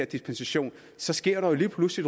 dispensation så sker der lige pludselig